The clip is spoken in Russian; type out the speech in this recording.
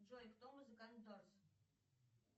джой кто музыкант дорс